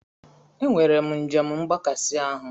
Enwere m njem mgbakasị ahụ.